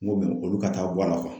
N ko mɛ olu ka taa bɔ a la